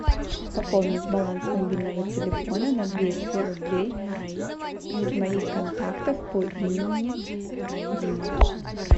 пополнить баланс мобильного телефона на двести рублей из моих контактов по имени дима